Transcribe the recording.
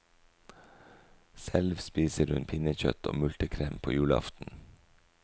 Selv spiser hun pinnekjøtt og multekrem på julaften.